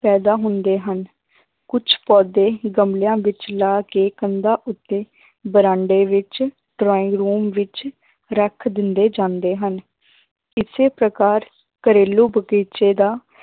ਪੈਦਾ ਹੁੰਦੇ ਹਨ ਕੁੱਝ ਪੌਦੇ ਗਮਲਿਆਂ ਵਿੱਚ ਲਾ ਕੇ ਕੰਧਾਂ ਉੱਤੇ ਬਰਾਂਡੇ ਵਿੱਚ drawing room ਵਿੱਚ ਰੱਖ ਦਿੰਦੇ ਜਾਂਦੇ ਹਨ ਇਸੇ ਪ੍ਰਕਾਰ ਘਰੇਲੂ ਬਗ਼ੀਚੇ ਦਾ